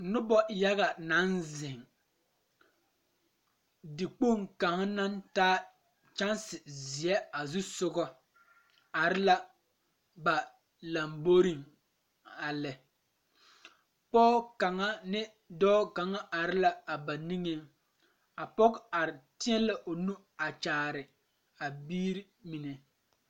Noba yaga naŋ zeŋ dikpoŋ kaŋ naŋ taa kyanse zie are la ba lamboriŋ a lɛ pɔge kaŋa ane dɔɔ kaŋa are la a ba niŋeŋ a pɔge are teɛ la o nuure a kyaare a biiri mine